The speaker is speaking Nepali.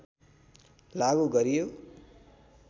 लागू गरियो